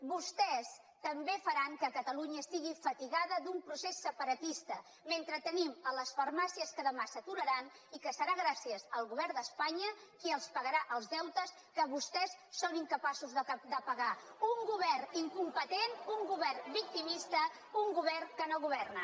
vostès també faran que catalunya estigui fatigada d’un procés separatista mentre tenim les farmàcies que demà s’aturaran i que serà gràcies al govern d’espanya qui els pagarà els deutes que vostès són incapaços de pagar un govern incompetent un govern victimista un govern que no governa